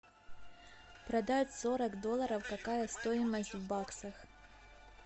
продать сорок долларов какая стоимость в баксах